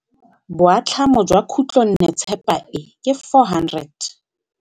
Boatlhamô jwa khutlonnetsepa e, ke 400.